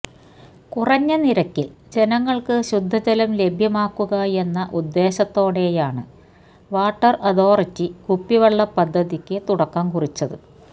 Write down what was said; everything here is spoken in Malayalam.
കുറഞ്ഞ നിരക്കിൽ ജനങ്ങൾക്കു ശുദ്ധജലം ലഭ്യമാക്കുകയെന്ന ഉദ്ദേശത്തോടെയാണ് വാട്ടർ അഥോറിറ്റി കുപ്പിവെള്ള പദ്ധതിക്ക്തുടക്കം കുറിച്ചത്